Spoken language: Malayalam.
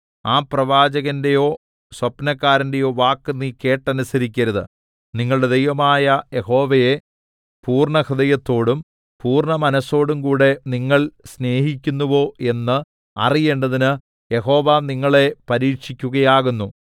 ആ പ്രവാചകന്റെയോ സ്വപ്നക്കാരന്റെയോ വാക്ക് നീ കേട്ടനുസരിക്കരുത് നിങ്ങളുടെ ദൈവമായ യഹോവയെ പൂർണ്ണഹൃദയത്തോടും പൂർണ്ണമനസ്സോടുംകൂടെ നിങ്ങൾ സ്നേഹിക്കുന്നുവോ എന്ന് അറിയേണ്ടതിന് യഹോവ നിങ്ങളെ പരീക്ഷിക്കുകയാകുന്നു